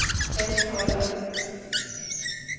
fastholder